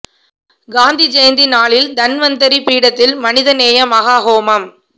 காந்தி ஜெயந்தி நாளில் தன்வந்திரி பீடத்தில் மனித நேய மஹா ஹோமம்